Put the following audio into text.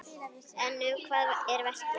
En um hvað er verkið?